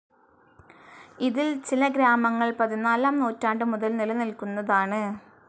ഇതിൽ ചില ഗ്രാമങ്ങൾ പതിനാലാം നൂറ്റാണ്ടുമുതൽ നിലനിൽക്കുന്നതാണ്.